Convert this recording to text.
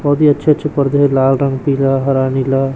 बहोत ही अच्छे-अच्छे पर्दे है लाल रंग पीला हरा नीला --